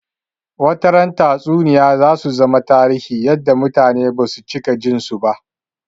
Wata ran Tatsuniyoyi zasu zama tarihi yadda mutane basu cika jin su ba